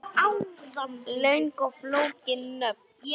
Löng og flókin nöfn